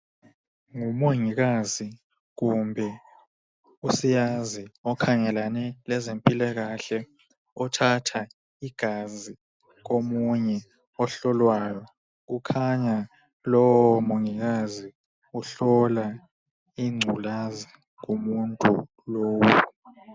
Ngumongikazi kumbe usiyazi okhangelane lezempilakahle .Othatha igazi komunye ohlolwayo .Kukhanya lowo mongikazi uhlola ingculazi kumuntu lowu.